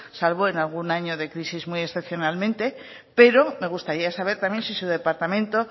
salvo en algún año de crisis muy excepcionalmente pero me gustaría saber también si su departamento